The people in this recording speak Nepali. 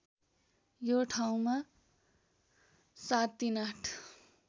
यो ठाउँमा ७३८